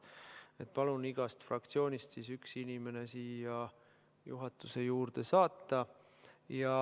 Nii et palun igast fraktsioonist üks inimene siia juhatuse juurde saata.